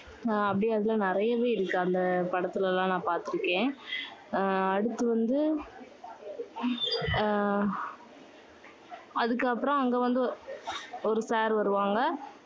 ஆஹ் அப்படி அதுல நிறையவே இருக்கு. அந்த படத்துல எல்லாம் நான் பாத்துருக்கேன். ஆஹ் அடுத்து வந்து அஹ் அதுக்கப்புறம் அங்க வந்து ஒரு sir வருவாங்க.